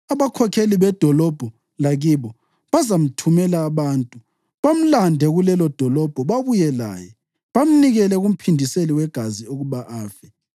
abakhokheli bedolobho lakibo bazamthumela abantu, bamlande kulelodolobho babuye laye, bamnikele kumphindiseli wegazi ukuba afe.